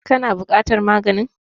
Ka na buƙatar maganin?